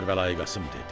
Kərbəlayi Qasım dedi: